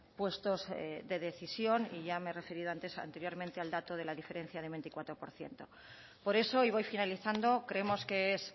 puestos de decisión y ya me he referido anteriormente al dato de la diferencia de veinticuatro por ciento por eso y voy finalizando creemos que es